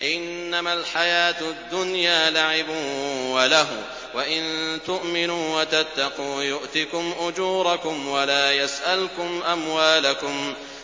إِنَّمَا الْحَيَاةُ الدُّنْيَا لَعِبٌ وَلَهْوٌ ۚ وَإِن تُؤْمِنُوا وَتَتَّقُوا يُؤْتِكُمْ أُجُورَكُمْ وَلَا يَسْأَلْكُمْ أَمْوَالَكُمْ